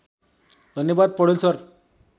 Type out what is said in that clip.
धन्यवाद पौडेल सर